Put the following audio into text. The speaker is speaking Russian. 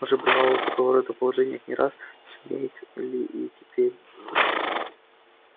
она уже бывала в такого рода положениях не раз сумеет и теперь